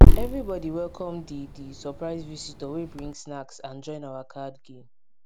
everybodi welkom di di surprise visitor wey bring snacks and join our card game